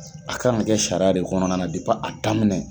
A kan ka kɛ sariya de kɔnɔna na depi a daminɛ.